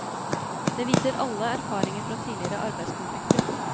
Det viser alle erfaringer fra tidligere arbeidskonflikter.